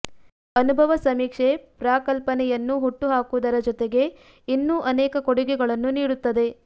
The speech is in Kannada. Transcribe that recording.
ಅನುಭವ ಸಮೀಕ್ಷೆ ಪ್ರಾಕ್ಕ್ ಲ್ಪನೆಯನ್ನು ಹುಟ್ಟು ಹಾಕುವುದರ ಜೊತೆಗೆ ಇನ್ನೂ ಅನೇಕ ಕೊಡುಗೆಗಳನ್ನು ನೀಡುತ್ತದೆ